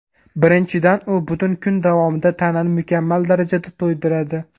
Birinchidan, u butun kun davomida tanani mukammal darajada to‘ydiradi.